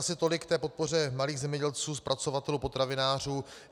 Asi tolik k podpoře malých zemědělců, zpracovatelů, potravinářů.